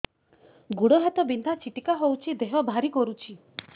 ଗୁଡ଼ ହାତ ବିନ୍ଧା ଛିଟିକା ହଉଚି ଦେହ ଭାରି କରୁଚି